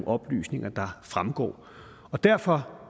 oplysninger der fremgår derfor